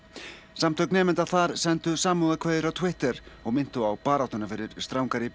samtök nemenda þar sendu samúðarkveðjur á Twitter og minntu á baráttuna fyrir strangari